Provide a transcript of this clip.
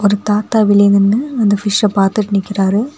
ஒரு தாத்தா வெளிய நின்னு அந்த பிஷ்ஷ பாத்துட்டு நிக்கிறாரு.